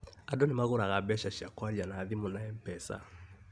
Andũ nĩmagũraga mbeca cia kwaria na thimũ na MPESA